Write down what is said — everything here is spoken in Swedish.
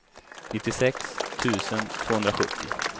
nittiosex tusen tvåhundrasjuttio